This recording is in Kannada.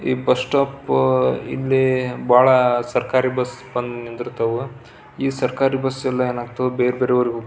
ಈ ಬಸ್ ಸ್ಟಾಪ್ ಇಲ್ಲಿ ಬಹಳ ಸರಕಾರಿ ಬಸ್ ಬಂದು ನಿಂತಿರ್ತಾವು ಈ ಸರಕಾರಿ ಬಸ್ ಏನಾಗತಾವ್ ಬೇರೆ ಬೇರೆ ಉರ್ --